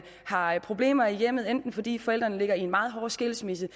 har problemer i hjemmet enten fordi forældrene ligger i en meget hård skilsmisse